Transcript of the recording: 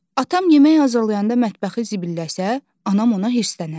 Atam yemək hazırlayanda mətbəxi zibilləsə, anam ona hirslənər.